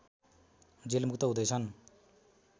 जेलमुक्त हुँदैछन्